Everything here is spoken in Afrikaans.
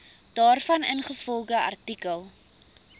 daarvan ingevolge artikel